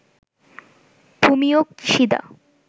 Fumio Kishida